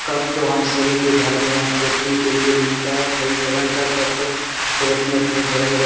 Cup तो हम सभी के घर में देखने के लिए मिलता है। कई तरह का कप सब अपने-अपने घर में रक --